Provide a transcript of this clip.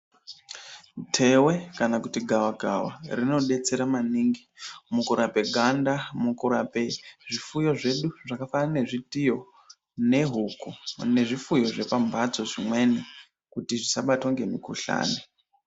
Ntewe kana kuti gavakava rinodetsera maningi mukurape ganda mukurape zvifuyo zvedu zvakafanana nezvitiyo nehuku nezvifuyo zvepamhatso zvimweni kuti zvisabatwa nemukuhlani.